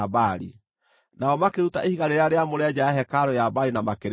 Nao makĩruta ihiga rĩrĩa rĩamũre nja ya hekarũ ya Baali na makĩrĩcina.